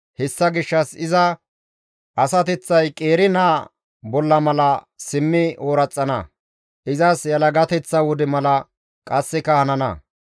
hessa gishshas iza asateththay, qeeri naa asho mala zaari ooraxana; izas yelagateththa wode mala qasseka hanana.